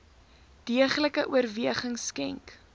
deeglike oorweging skenk